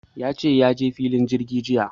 Ya ce ya je filin jirgi jiya.